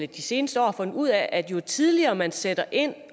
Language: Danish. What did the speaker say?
de seneste år har fundet ud af at jo tidligere man sætter ind